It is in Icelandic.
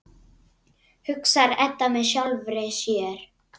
hugsar Edda með sjálfri sér.